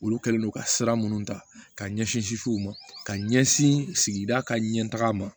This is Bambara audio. Olu kɛlen don ka sira minnu ta ka ɲɛsin u ma ka ɲɛsin sigida ka ɲɛ taga ma